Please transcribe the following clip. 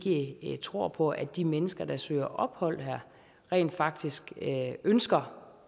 ikke tror på at de mennesker der søger ophold her rent faktisk ønsker